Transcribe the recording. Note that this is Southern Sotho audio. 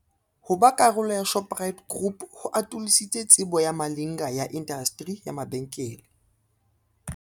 Ho ba karolo ya Shoprite Group ho atolositse tsebo ya Malinga ya indasteri ya mabenkele.